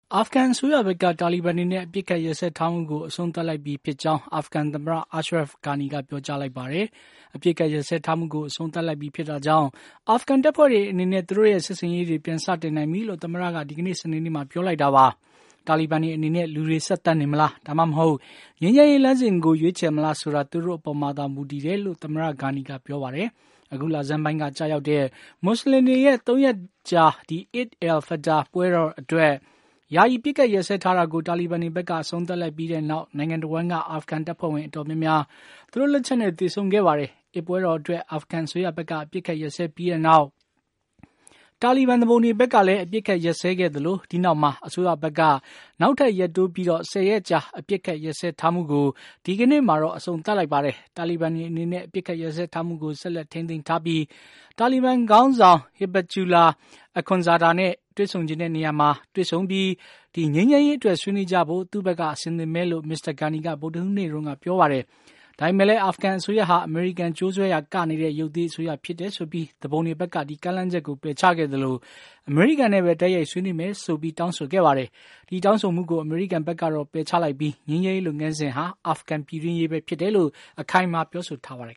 အာဖဂန်အစိုးရဘက်က တာလီဘန်တွေနဲ့ အပစ်အခတ်ရပ်စဲထားမှုကို အဆုံးသတ်လိုက် ပြီ ဖြစ်ကြောင်း အာဖဂန်သမ္မတ Ashraf Ghani က ပြောလိုက်ပါတယ်။ အပစ်အခတ်ရပ်စဲ ထားမှုကို အဆုံးသတ်လိုက်ပြီဖြစ်တာကြောင့်အာဖဂန်တပ်ဖွဲ့တွေအနေနဲ့ သူတို့ရဲ့စစ်ဆင် ရေးတွေ ပြန်စတင်နိုင်ပြီလို့ သမ္မတက ဒီကနေ့ စနေနေ့မှာ ပြောလိုက်တာပါ။ တာလီဘန်တွေအနေနဲ့ လူတွေ ဆက်သတ်နေမလား ဒါမှမဟုတ် ငြိမ်းချမ်းရေးလမ်းစဉ်ကို လိုက်မလားဆိုတာ သူတို့အပေါ်မှာသာ မူတည်တယ်လို့လည်း သမ္မတ Ghani က ပြော ပါတယ်။ အခုလဆန်းပိုင်းက ကျရောက်တဲ့ မူစလင်တွေရဲ့ ၃ ရက်တာ Eid al Fitr အစ် ပွဲတော်အတွက် ယာယီအပစ် အခတ်ရပ်စဲထားတာကို တာလီဘန်တွေဘက်က အဆုံး သတ်လိုက်ပြီးနောက်နိုင်ငံတဝှမ်းက အာဖဂန် တပ်ဖွဲ့ဝင်တွေအတော်များများ သူတို့လက် ချက်နဲ့ သေဆုံးခဲ့ပါတယ်။ အစ်ပွဲတော်အတွက် အာဖဂန်အစိုးရဘက်က အပစ်အခတ်ရပ်စဲပြီးနောက် သူပုန်တွေ ဘက်ကလည်း အပစ်အခတ်ရပ်စဲခဲ့သလို ဒီနောက်မှာ အစိုးရဘက်က နောက်ထပ် ရပ်တိုးပြီး ၁၀ ရက်ကြာ အပစ်အခတ်ရပ်စဲထားမှုကို ဒီကနေ့ အဆုံးသတ်လိုက်တာပါ။ တာလီဘန်တွေအနေနဲ့ အပစ်ရပ်စဲထားမှုကို ဆက်ထိန်းသိမ်းထားပြီး တာလီဘန် ခေါင်းဆောင် Hibatullah Akhunzada နဲ့ သူ တွေ့ဆုံချင်တဲ့နေရာမှာ တွေ့ဆုံပြီး ငြိမ်းချမ်း ရေးအတွက် ဆွေးနွေးကြဖို့ သူ့ဘက်က အဆင်သင့်ပဲလို့ Mr. Ghani က ဗုဒ္ဓဟူးနေ့မှာ ပြောထားတာပါ။ ဒါပေမယ့်လည်း အာဖဂန်အစိုးရဟာ အမေရိကန် ကြိုးဆွဲရာကနေတဲ့ ရုပ်သေးအစိုးရဖြစ် တယ်ဆိုပြီး သူပုန်တွေဘက်က ဒီကမ်းလှမ်းချက်ကို ပယ်ချခဲ့သလို အမေရိကန်နဲ့ပဲ တိုက် ရိုက် ဆွေးနွေးမယ်လို့ တောင်းဆိုခဲ့ပါတယ်။ ဒီတောင်းဆိုမှုကို အမေရိကန်ဘက်က ပယ်ချ ထားပြီး ငြိမ်းချမ်းရေးလုပ်ငန်းစဉ်ဟာ အာဖဂန်ပြည်တွင်းရေးပဲ ဖြစ်တယ်လို့ အခိုင်အမာ ပြောဆိုထားပါတယ်